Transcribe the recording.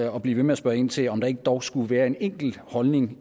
at blive ved med at spørge ind til om der dog ikke skulle være en enkelt holdning